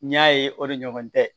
N'i y'a ye o de ɲɔgɔn tɛ